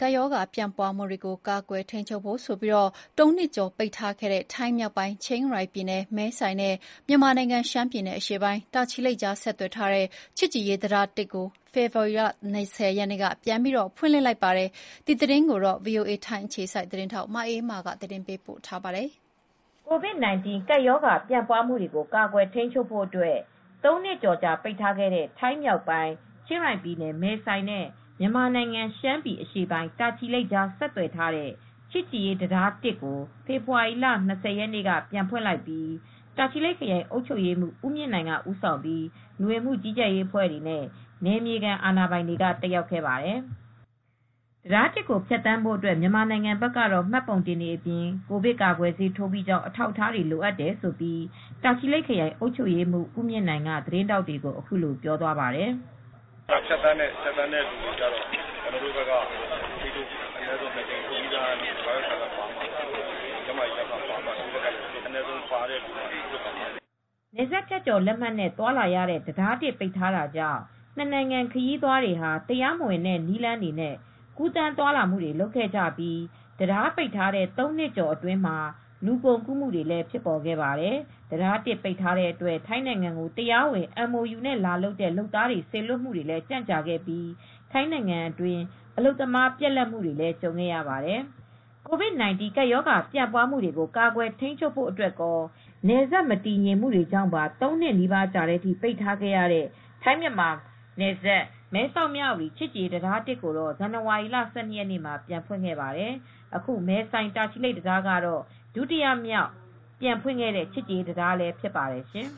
ကပ်ရောဂါ ပြန့်ပွားမှုတွေကိုကာကွယ်ထိန်းချုပ်ဖို့ ၃ နှစ်ကျော်ကြာပိတ်ထားခဲ့တဲ့ ထိုင်းမြောက်ပိုင်း ချင်းရိုင်ပြည်နယ် မဲဆိုင်နဲ့ မြန်မာနိုင်ငံ ရှမ်းပြည်အရှေ့ပိုင်း တာချီလိတ်ကြားဆက်သွယ်ထားတဲ့ ချစ်ကြည်ရေးတံတား ဖေဖေါ်ဝါရီလ ၂၀ ရက်နေ့က ပြန်ဖွင့်လိုက်ပါတယ်။ ဒီသတင်းကို ဗွီအိုအေသတင်းထောက် မအေးအေးမာက သတင်းပေးပို့ထားပါတယ်။ COVID-19 ကပ်ရောဂါ ပြန့်ပွားမှုတွေကိုကာကွယ်ထိန်းချုပ်ဖို့ ၃ နှစ်ကျော်ကြာပိတ်ထားခဲ့တဲ့ ထိုင်းမြောက်ပိုင်း ချင်းရိုင်ပြည်နယ်မဲဆိုင်နဲ့ မြန်မာနိုင်ငံရှမ်းပြည် အရှေ့ပိုင်း တာချီလိတ်ကြားဆက်သွယ်ထားတဲ့ ချစ်ကြည်ရေးတံတား ကို ဖေဖေါ်ဝါရီလ ၂၀ ရက်နေ့က ပြန်ဖွင့်လိုက်ပါတယ်။ ဖွင့်ပွဲအခမ်းအနားကို တာချီလိတ်ခရိုင်အုပ်ချုပ်ရေးမှူးဦးမြင့်နိုင်ဦးဆောင်ပြီး လူဝင်မှုကြီးကြပ်ရေး အဖွဲ့တွေနဲ့ နယ်မြေခံအာဏာပိုင်တွေ တက်ရောက်ခဲ့ပါတယ်။ တံတား ကိုဖြတ်သန်းဖို့ မြန်မာနိုင်ငံဘက်က မှတ်ပုံတင်အပြင် ကိုဗစ်ကာကွယ်ဆေး ထိုးပြီးကြောင်း အထောက်အထားတွေလိုအပ်တယ်လို့ တာချီလိတ်ခရိုင်အုပ်ချုပ်ရေးမှူးဦးမြင့်နိုင်က သတင်းထောက်တွေကို အခုလိုပြောသွားပါတယ်။ “ဖြတ်သန်းတဲ့လူတွေကတော့ ကျနော်တို့ဘက်က ကျန်းမာရေးလက်မှတ်တွေ၊ ဆေးထိုးပြီးကြောင်းစာရွက်တွေပါမှ ဖြတ်သန်းခွင့်ရမှာဖြစ်ပါတယ်။” နယ်စပ်ဖြတ်ကျော်လက်မှတ်နဲ့သွားလာရတဲ့တံတား ပိတ်ထားခဲ့တာကြောင့် နှစ်နိုင်ငံခရီးသွားတွေဟာ တရားမဝင်တဲ့နည်းတွေနဲ့ ကူးသန်းသွားလာနေခဲ့ကြပြီး တံတားပိတ်ထားတဲ့ ၃ နှစ်ကျော်အတွင်း လူကုန်ကူးမှုတွေလည်းဖြစ်ပေါ်ခဲ့ပါတယ်။ တံတား ပိတ်ထားတဲ့အတွက် ထိုင်းနိုင်ငံကို တရားဝင် MOU နဲ့လာလုပ်တဲ့ လုပ်သားတွေစေလွှတ်မှု ကြန့်ကြာခဲ့ပြီး ထိုင်းနိုင်ငံအတွင်း အလုပ်သမားပြတ်လပ်ခဲ့ရပါတယ်။ COVID-19 ကပ်ရောဂါပြန့်ပွားမှုတွေကို ကာကွယ်ထိန်းချုပ်ဖို့အတွက်ကော နယ်စပ်မတည်ငြိမ်မှုတွေကြောင့်ပါ ၃ နှစ်နီးပါကြာတဲ့အထိ ပိတ်ထားခဲ့ရတဲ့ ထိုင်း-မြန်မာ မဲဆောက်-မြဝတီ ချစ်ကြည်ရေး တံတားအမှတ် ကို ဇန်နဝါရီလ ၁၂ ရက်နေ့မှာပဲ ပြန်ဖွင့်ခဲ့ပါတယ်။ အခု မဲဆိုင်-တာချီလိတ်တံတားကတော့ ဒုတိယမြောက် ပြန်ဖွင့်ခဲ့တဲ့ ချစ်ကြည်ရေးတံတားလည်းဖြစ်ပါတယ်ရှင်